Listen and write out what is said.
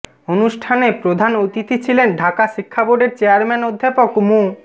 অনুষ্ঠানে প্রধান অতিথি ছিলেন ঢাকা শিক্ষা বোর্ডের চেয়ারম্যান অধ্যাপক মু